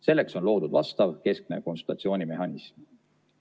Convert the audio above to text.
Selleks on loodud vastav keskne konsultatsioonimehhanism.